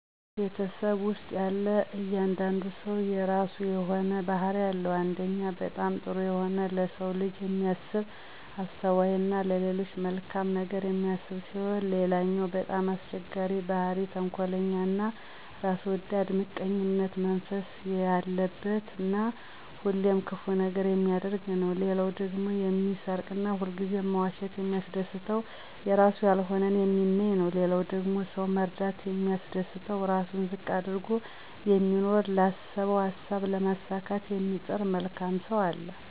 ቤተሰብ ውስጥ ያለ እያንዳንዱ ሰው የረሱ የሆነ ባህሪ አለው አንደኛው በጣም ጥሩ የሆነ ለሰው ልጅ የሚያስብ አስተዋይ እና ለሌሎች መልካም ነገር የሚያስብ ሲሆን ሌለኛው በጣም አስቸጋሪ ባህሪ ተንኮለኛ እና ራስ ወዳድ ምቀኝነት መንፈስ የለበት እና ሁሌም ክፉ ነገር የሚያደርግ ነው ሌላው ደግሞ የሚሰርቅ እና ሁልጊዜ መዋሸት የሚያስደስት የረሱ ያልሆነውን የሚመኝ ነው ሊላው ደግሞ ሰውን መርዳት የሚያስደስተው እራሱን ዝቅ አድርጎ የሚኖር ላሰበው አሳብ ለማሳካት የሚጥር መልካም ሰው አለ።